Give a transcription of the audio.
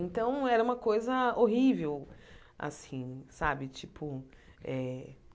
Então, era uma coisa horrível assim sabe tipo eh.